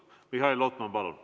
Mihhail Lotman, palun!